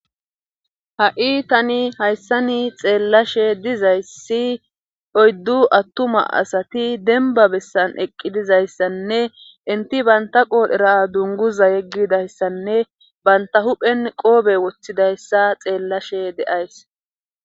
Ha'i tani hayssani xeellashe dizayssi oyddu attuma asati denba bessan eqqi dizayssanne inti baynta qoolhera dunguza yeggidayssanne banta huphen qoobe woththidayssa xeellashe de'ays.